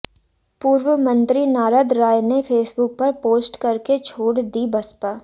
पूर्व मंत्री नारद राय ने फेसबुक पर पोस्ट करके छोड़ दी बसपा